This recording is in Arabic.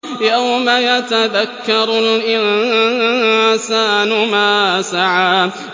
يَوْمَ يَتَذَكَّرُ الْإِنسَانُ مَا سَعَىٰ